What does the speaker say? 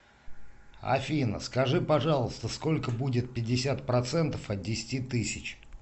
афина скажи пожалуйста сколько будет пятьдесят процентов от десяти тысяч